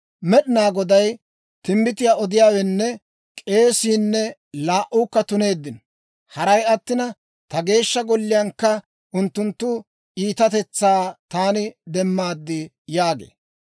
Med'inaa Goday, «Timbbitiyaa odiyaawenne k'eesiinne laa"uukka tuneeddino; haray attina, ta Geeshsha Golliyaankka unttunttu iitatetsaa taani demmaad» yaagee.